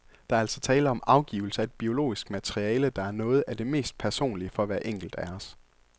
Der er altså tale om afgivelse af et biologisk materiale, der er noget af det mest personlige for hver enkelt af os.